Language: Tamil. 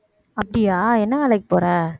அப்படியா என்ன வேலைக்கு போற